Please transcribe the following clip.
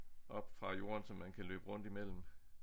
Op fra jorden så man kan løbe rundt imellem